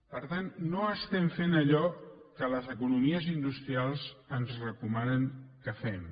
per tant no estem fent allò que les economies industrials ens recomanen que fem